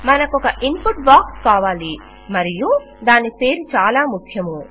మనకొ క input box కావాలి మరియు దాని పేరు చాలా ముఖ్యము